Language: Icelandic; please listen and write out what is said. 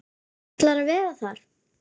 Ætlar að vera þar.